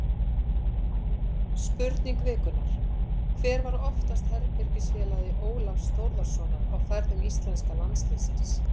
Spurning vikunnar: Hver var oftast herbergisfélagi Ólafs Þórðarsonar á ferðum íslenska landsliðsins?